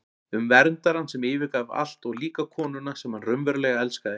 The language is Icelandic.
Um verndarann sem yfirgaf allt og líka konuna sem hann raunverulega elskaði.